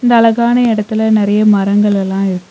இந்த அழகான எடத்துல நெறைய மரங்கள்லல்லா இருக்கு.